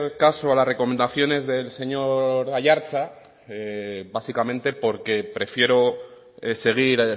caso a las recomendaciones del señor aiartza básicamente porque prefiero seguir